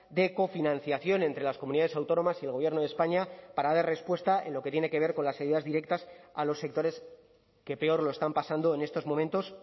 de cofinanciación entre las comunidades autónomas y el gobierno de españa para dar respuesta en lo que tiene que ver con las ayudas directas a los sectores que peor lo están pasando en estos momentos